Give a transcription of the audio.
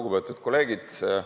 Lugupeetud kolleegid!